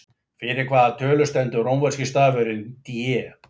Fyrir hvaða tölu stendur rómverski tölustafurinn D?